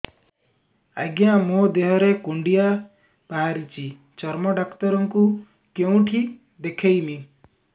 ଆଜ୍ଞା ମୋ ଦେହ ରେ କୁଣ୍ଡିଆ ବାହାରିଛି ଚର୍ମ ଡାକ୍ତର ଙ୍କୁ କେଉଁଠି ଦେଖେଇମି